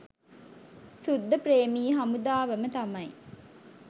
සුද්දප්‍රේමී හමුදාවම තමයි.